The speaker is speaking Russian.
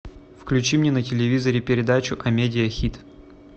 включи мне на телевизоре передачу амедия хит